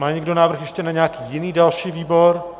Má někdo návrh ještě na nějaký jiný další výbor?